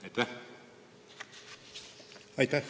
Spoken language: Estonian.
Aitäh!